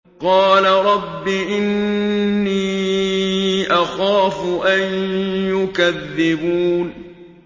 قَالَ رَبِّ إِنِّي أَخَافُ أَن يُكَذِّبُونِ